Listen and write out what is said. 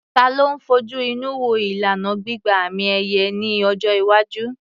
Ta ló ń fojú inú wo ìlànà gbígba àmì-ẹ̀yẹ ní ọjọ́ iwájú?